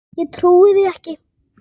Ég trúi því ekki!